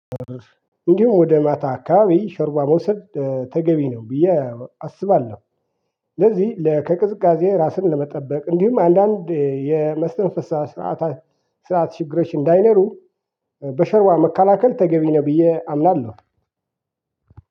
እንዲሁም ወደ ማታ አካባቢ ሸርባ መውሰድ ተገቢ ነው ብዬ አስባለሁ፤ ለዚህ ለከቅዝቃዜ ራስን ለመጠበቅ እንዲሁም አንዳንድ የመስተንፈስ ሰዓት ስርዓት ስርዓት ችግሮች እንዳይንሩ በሸርባ መካከል ተገቢ ነው ብዬ አምናለሁ።